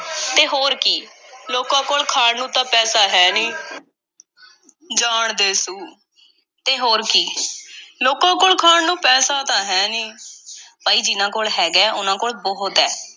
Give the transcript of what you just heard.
ਤੇ ਹੋਰ ਕੀ, ਲੋਕਾਂ ਕੋਲ ਖਾਣ ਨੂੰ ਤਾਂ ਪੈਸਾ ਨਹੀਂ। ਜਾਣ ਦੇ ਸੂ, ਅਤੇ ਹੋਰ ਕੀ, ਲੋਕਾਂ ਕੋਲ ਖਾਣ ਨੂੰ ਪੈਸਾ ਤਾਂ ਹੈ ਨਹੀਂ, ਭਾਈ ਜਿਨ੍ਹਾਂ ਕੋਲ ਹੈਗਾ ਐ, ਉਹਨਾਂ ਕੋਲ ਬਹੁਤ ਐ।